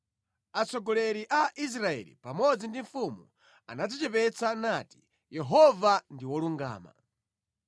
Atsogoleri a Israeli pamodzi ndi mfumu anadzichepetsa nati, “Yehova ndi wolungama.”